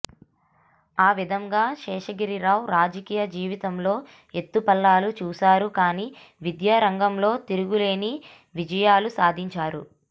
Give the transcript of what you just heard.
ఆవిధంగా శేషగిరిరావు రాజకీయ జీవితంలో ఎత్తుపల్లాలు చూశారు కానీ విద్యారంగంలో తిరుగులేని విజయాలు సాధించారు